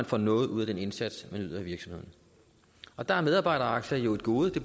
får noget ud af den indsats man yder i virksomheden der er medarbejderaktier jo et gode det